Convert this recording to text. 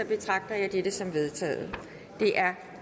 betragter jeg dette som vedtaget det er